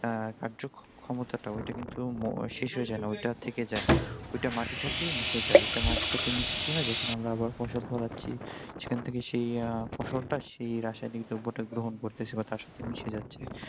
আহ কার্যক্ষমতাটা ওইটা কিন্তু ম শেষ হয়ে যায় না ওইটা থেকে যায় ওইটা মাটির সাথে মিশে যায় ওইটা মাটির সাথে মিশে কি হয় যখন আমরা আবার ফসল ফলাচ্ছি সেখানে থেকে সেই আহ ফসলটা সেই রাসায়নিক দ্রব্যটা গ্রহণ করতেছে বা তার সাথে মিশে যাচ্ছে